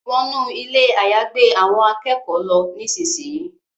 Wọnú Ilé àyágbé àwọn akẹ́kọ̀ọ́ ló nísìsiyìí!